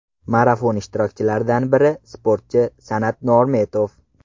Marafon ishtirokchilaridan biri sportchi San’at Normetov.